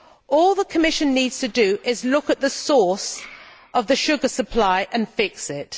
All the Commission needs to do is to look at the source of the sugar supply and fix it.